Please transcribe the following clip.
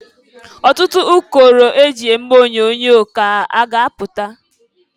Ọtụtụ ụkọrọ e ji eme onyoonyo ka a ga-apụta.